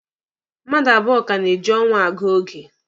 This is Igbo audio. Mmadụ abụọ ka na-eji ọnwa agụ oge.